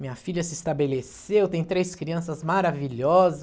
Minha filha se estabeleceu, tem três crianças maravilhosas.